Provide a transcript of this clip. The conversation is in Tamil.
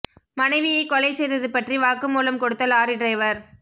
மனைவியை கொலை செய்தது பற்றி வாக்குமூலம் கொடுத்த லாரி டிரைவர்